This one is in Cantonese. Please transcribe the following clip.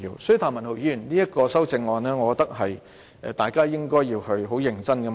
所以，譚文豪議員的修正案，我認為大家應該要認真探討。